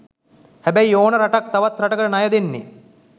හැබැයි ඕනම රටක් තවත් රටකට ණය දෙන්නෙ